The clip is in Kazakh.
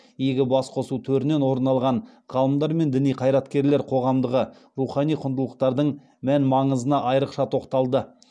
игі басқосу төрінен орын алған ғалымдар мен діни қайраткерлер қоғамдағы рухани құндылықтардың мән маңызына айрықша тоқталды